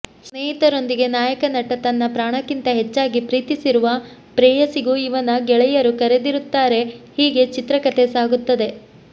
ಸ್ನೇಹಿತರೊಂದಿಗೆ ನಾಯಕ ನಟ ತನ್ನ ಪ್ರಾಣಕ್ಕಿಂತ ಹೆಚ್ಚಾಗಿ ಪ್ರೀತಿಸಿರುವ ಪ್ರೇಯಸಿಗೂ ಇವನ ಗೆಳೆಯರು ಕರೆದಿರುತ್ತಾರೆ ಹೀಗೆ ಚಿತ್ರ ಕಥೆ ಸಾಗುತ್ತದೆ